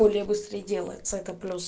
более быстро и делается это пюс